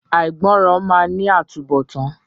Àìgbọràn máa ní àtúnbọ̀tán.